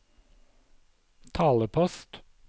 talepost